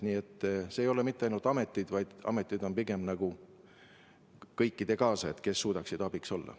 Nii et ei tegutse mitte ainult ametid, vaid ametid on pigem kõikide nende teiste kaasajad, kes suudavad abiks olla.